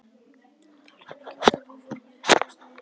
Hún talar mikið um þau áform við vini sína í